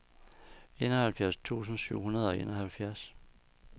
enoghalvfjerds tusind syv hundrede og enoghalvfjerds